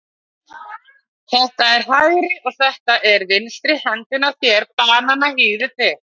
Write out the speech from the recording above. Þetta er hægri og þetta er vinstri hendin á þér, bananahýðið þitt.